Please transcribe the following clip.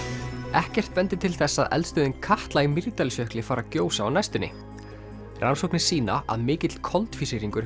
ekkert bendir til þess að eldstöðin Katla í Mýrdalsjökli fari að gjósa á næstunni rannsóknir sýna að mikill koltvísýringur